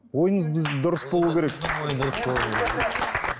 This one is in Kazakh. ойыңыз дұрыс болу керек